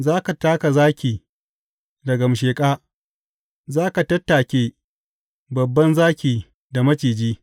Za ka taka zaki da gamsheƙa; za ka tattake babban zaki da maciji.